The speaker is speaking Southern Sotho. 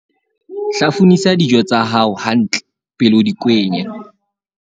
hlafunisa dijo tsa hao hantle pele o di kwenya